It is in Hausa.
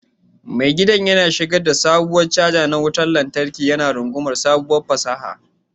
Mai gidan yana shigar da sabon caja na wutar lantarki, yana rungumar sabuwar fasaha.